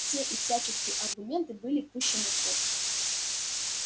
все и всяческие аргументы были пущены в ход